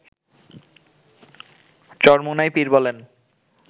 চরমোনাই পীর বলেন